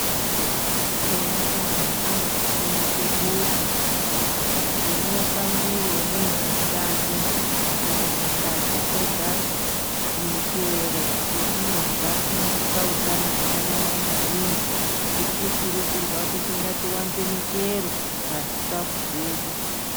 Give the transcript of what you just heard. Veutano vanotifundisa kuti tinomwiri wemunhu utano amasadza egapi tine michero yatinodya inotipa utano zvakanyanya maningi tirikukurudzirws kuti ngati ngatiwanze michero pazvikafu zvedu.